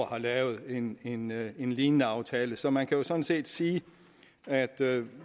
har lavet en lignende en lignende aftale så man kan jo sådan set sige at